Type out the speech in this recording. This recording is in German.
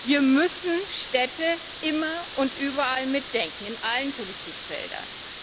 Wir müssen Städte immer und überall mitdenken, in allen Politikfeldern.